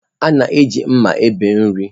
A na-eji mma ebe nri.